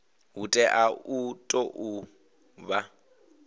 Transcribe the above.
hu tea u tou vha